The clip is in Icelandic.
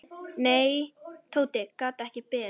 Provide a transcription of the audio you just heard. Nei, Tóti gat ekki beðið.